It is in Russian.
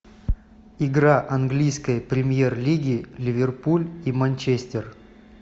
игра английской премьер лиги ливерпуль и манчестер